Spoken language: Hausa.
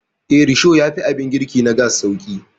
Eh, risho yafi abin girki na gas sauƙi.